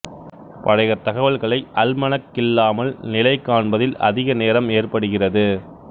பழைய தகவல்களை அல்மனக் இல்லாமல் நிலை காண்பதில் அதிக நேரம் ஏற்படுகிறது